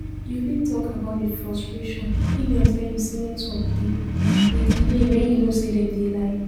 You fit talk about di frustration if dem tell u say network dey dey delay when you know say dem dey lie.